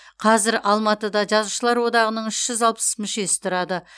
қазір алматыда жазушылар одағының мүшесі тұрады